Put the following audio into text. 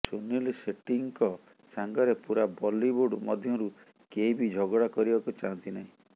ସୁନୀଲ ସେଠ୍ହିଙ୍କ ସାଙ୍ଗରେ ପୁରା ବଲିବୁଡ଼ ମଧ୍ୟରୁ କେହିଭି ଝଗଡା କରିବାକୁ ଚାହାନ୍ତିନାହିଁ